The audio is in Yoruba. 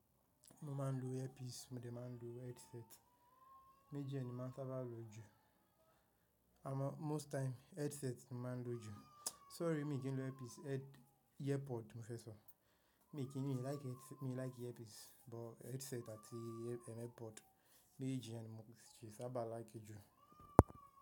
Mo máa ń lo earpiece, mo dé máa ń lo headset. Méjì ni máa ń sábà lo jù. Amó most time headset ni máa ń lo jù. Sorry, mi kì n lo earpiece, airpod mo fẹ́ sọ. Mi kì í ní, mi like mi like earpiece, but headset àti AirPod méjèèjì yẹn ni mo sì sábà like jù.